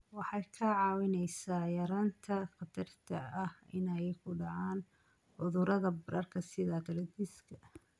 Waxay kaa caawinaysaa yaraynta khatarta ah inay ku dhacaan cudurrada bararka sida arthritis-ka.